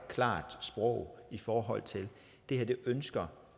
klart sprog i forhold til at det her ønsker